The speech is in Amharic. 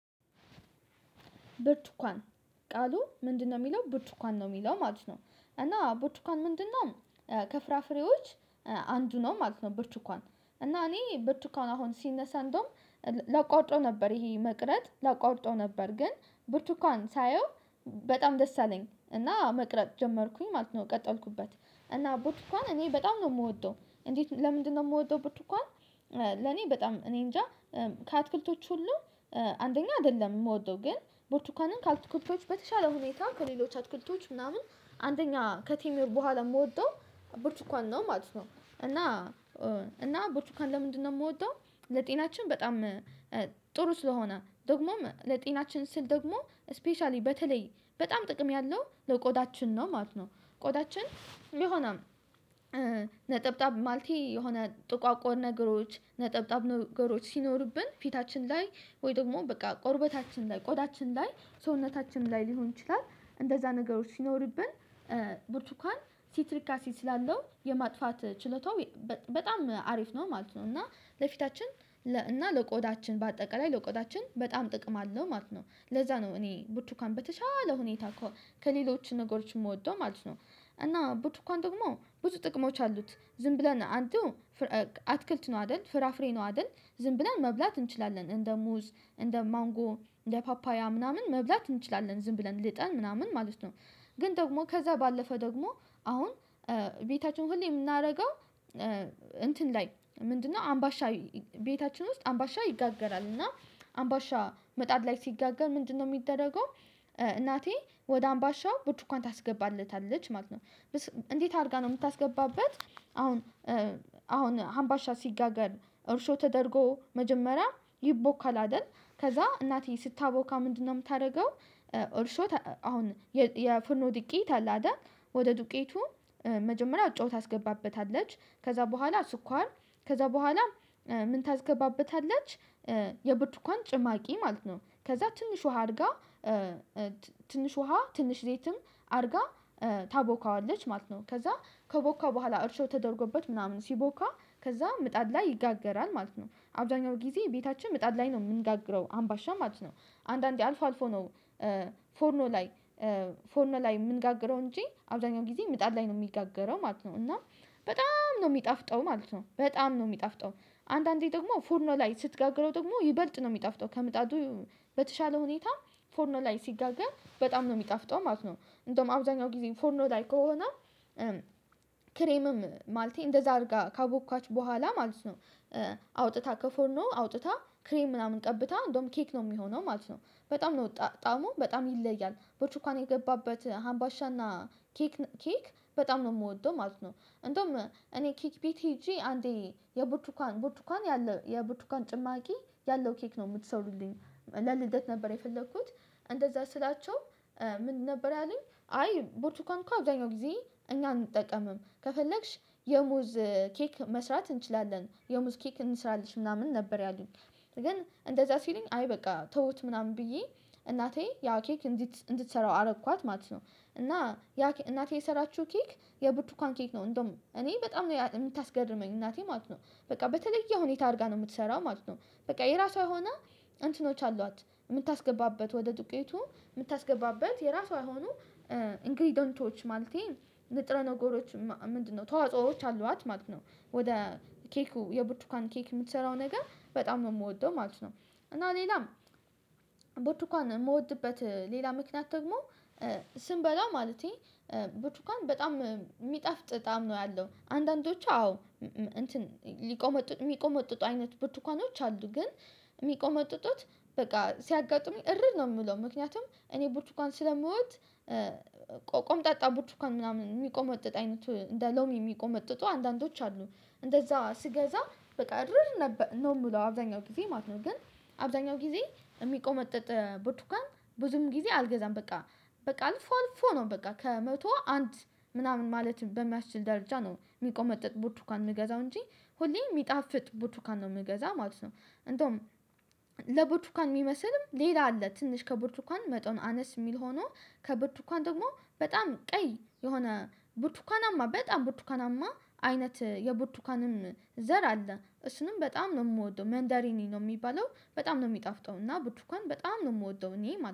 ብርቱኳን ቃሉ ምንድነው የሚለው ብርቱኳን ነው የሚለው ማለት ነው። እና በርቹካን ምንድነው? ከፍራፍሬዎች አንዱ ነው ማለት ነው። ብርቹካን እና እኔ ብርቹካን አሁን ሲነሳ እንደውም ላቋርጠው ነበር ይሄ መቅረት ላቋርጠው ነበር። ግን ብርቱካን ሳየው በጣም ደስ አለኝ እና መቅረጥ ጀመርኩኝ ማለት ነው። ቀጠልኩበት እና ቡትኳን እኔ በጣም ነው የምወደው እንዴት ለምንድነው የምወደውበት? እንኳን ለኔ በጣም እኔ እንጃ። ከአትክልቶች ሁሉ አንደኛ አይደለም የምወደው ግን ቦርቱካንን ከአትክልቶች በተሻለ ሁኔታ ከሌሎች አትኩልቶች ምናምን አንደኛ ከቲሜ በኋላ የምወጣው ብርቱካን ነው ማለት ነው። እና እና ብርቱካን ለምንድነው? የምወደው ለጤናችን በጣም ጥሩ ስለሆነ ደግሞም ለጤናችን ስል ደግሞ ስፔሻሊ በተለይ በጣም ጥቅም ያለው ለቆዳችን ነው ማለት ነው። ቆዳችን ይሆናል ማለቴ የሆነ ጥቋቁን ነገሮች ነጠብጣብ ነገሮች ሲኖሩብን ፊታችን ላይ ወይ ደግሞ በቃ ቆርበታችን ላይ ቆዳችን ላይ ሰውነታችን ላይ ሊሆን ይችላል። እንደዛ ነገሮች ሲኖርብን። ብርቱካን ሲትሪክ አሲስ ስላለው የማጥፋት ችለታው በጣም አሪፍ ነው ማለት ነው። እና ለፊታችን እና ለቆዳችን በአጠቃላይ ለቆዳችን በጣም ጥቅም አለው ማለት ነው። ለዛ ነው እኔ ቡቱካን በተቻለ ሁኔታ ከሌሎች ነገሮች የምወደው ማለት ነው። እና ብዙ እንኳን ደግሞ ብዙ ጥቅሞች አሉት። ዝም ብለን አንተ አትክልት ነው አይደል? ፍራፍሬ ነው አይደል? ዝም ብለን መብላት እንችላለን እንደ ሙዝ እንደ ማንጎ እንደ ፓፓያ ምናምን መብላት እንችላለን ዝም ብለን ልጠን ምናምን ማለት ነው። ግን ደግሞ ከዛ ባለፈ ደግሞ አሁን ቤታቸውን ሁሌ የምናደርገው እንትን ላይ ምንድነው? አምባሻ ቤታችን ውስጥ አምባሻ ይጋገራል። እና አምባሻ መጣድ ላይ ሲጋገር ምንድነው የሚደረገው? እናቴ ወደ አምባሻው ቡትኳን ታስገባለታለች ማለት ነው። እንዴት አድርጋ ነው የምታስገባበት? አሁን አሁን አምባሻ ሲጋገር እርሾ ተደርጎ መጀመሪያ ይቦካል አይደል? ከዛ እናቴ ስታቦካ ምንድነው የምታደርገው? እርሾ አሁን የፈኖ ድቄት አለ አይደል? ወደ ዱቄቱ መጀመሪያ ጨዋታ አስገባበታለች ከዛ በኋላ ስኳር ከዛ በኋላ ምን ታስገባበታለች? የብርቱን ጭማቂ ማለት ነው ከዛ ትንሽ ውሃ አድርጋ ትንሽ ውሃ ትንሽ ሌትም አድርጋ ታቦካዋለች ማለት ነው። ከዛ ከቦካ በኋላ እርሾ ተደርጎበት ምናምን ሲቦካ ከዛ ምጣድ ላይ ይጋገራል ማለት ነው። አብዛኛው ጊዜ ቤታችን ምጣድ ላይ ነው የምንጋግረው አምባሻ ማለት ነው። አንዳንዴ አልፎ አልፎ ነው። ፎርኖ ላይ ፎርኖ ላይ የምንጋግረው እንጂ አብዛኛው ጊዜ ምጣድ ላይ ነው የሚጋገረው ማለት ነው። እና በጣም ነው የሚጣፍጠው ማለት ነው። በጣም ነው የሚጣፍጠው አንዳንዴ ደግሞ ፎርኖ ላይ ስትጋግረው ደግሞ ይበልጥ ነው የሚጣፍጠው ከምጣቱ በተሻለ ሁኔታ ፎርኖ ላይ ሲደጋገም በጣም ነው የሚጣፍጠው ማለት ነው። እንደውም አብዛኛው ጊዜ ፎርኖ ላይ ከሆነ ክሬምም ማለት እንደዛ አድርጋ ካቦኳች በኋላ ማለት ነው። አውጥታ ከፎርኖ አውጥታ ክሬም ምናምን ቀብታ እንደውም ኬክ ነው የሚሆነው ማለት ነው። በጣም ነው ጣሙ በጣም ይለያል ቦቹካን የገባበት ሀምባሻና ኬክ ኬክ በጣም ነው የምወደው ማለት ነው። እንደውም እኔ ኬክ ቢት አንዴ የቡቱኳን ቡቱኳን ያለ የቡቱኳን ጭማቂ ያለው ኬክ ነው የምትሰሩልኝ። ለልደት ነበር የፈለኩት። እንደዛ ስላቸው ምን ነበር ያለኝ? አይ ቡርቱካን እኮ አብዛኛው ጊዜ እኛን እንጠቀምም ከፈለግሽ የሙዝ ኬክ መስራት እንችላለን የሙዝ ኬክ እንስራለሽ ምናምን ነበር ያሉኝ። ግን እንደዛ ሲለኝ አይ በቃ ተውት ምናምን ብዬ እናቴ ያው ኬክ እንድትሰራው አረኳት ማለት ነው። እና ያ እናቴ የሰራችው ኬክ የብትኳን ኬክ ነው። እንደውም እኔ በጣም ነው የምታስገርመኝ እናቴ ማለት ነው። በቃ በተለየ ሁኔታ አድርጋ ነው የምትሰራው ማለት ነው። በቃ የራሷ የሆነ እንትኖች አሏት። የምታስገባበት ወደ ዱቄቱ የምታስገባበት የራሷ የሆኑ። ኢንግሪደንቶች ማለቴ ንጥረ ነገሮች ምንድነው? ተዋጽኦዎች አሏት ማለት ነው። ወደ ኬኩ የብርቱካን ኬክ የምትሰራው ነገር በጣም የምወደው ማለት ነው። እና ሌላም ቦቱኳን የምወድበት ሌላ ምክንያት ደግሞ ስንበላው ማለቴ ቡትኳን ቡቹካን በጣም የሚጠፍጥ በጣም ነው ያለው። አንዳንዶቹ አዎ እንትን ሊቆመጡ የሚቆመጡጡ አይነት ብርቱካኖች አሉ። ግን የሚቆመጡት። በቃ ሲያጋጥሙኝ እረድ ነው የምለው ምክንያቱም እኔ ቡርቹካን ስለመውጥ። ቆምጣጣ ቡርቹካን ምናምን የሚቆመጥጥ አይነቱ እንደ ሎሚ የሚቆመጥጡ አንዳንዶች አሉ። እንደዛ ስገዛ በቃ ድርር ነበር ነው የምለው አብዛኛው ጊዜ ማለት ነው። ግን አብዛኛው ጊዜ የሚቆመጥጥ ቡቱካን ብዙም ጊዜ አልገዛም። በቃ በቃ አልፎ አልፎ ነው በቃ ከመቶ አንድ ምናምን ማለት በሚያስችል ደረጃ ነው የሚቆመጥጥ ቡትኳን የምገዛው እንጂ። ሁሌ የሚጣፍጥ ቡትኳን ነው የምገዛ ማለት ነው። እንደውም ለቡቱካን የሚመስልም ሌላ አለ ትንሽ ከቡርቱኳን መጥቶን አነስ የሚል ሆኖ ከቡርቱኳን ደግሞ በጣም ቀይ የሆነ ቡቱካናማ በጣም ቡቱካናማ አይነት የቡቱካንም ዘር አለ። እሱንም በጣም ነው የምወደው መንደሪኒ ነው የሚባለው። በጣም ነው የሚጣፍጠው። እና ብትኩን በጣም ነው የምወደው እኔ